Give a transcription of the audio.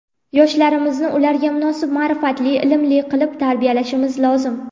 Yoshlarimizni ularga munosib ma’rifatli, ilmli qilib tarbiyalashimiz lozim.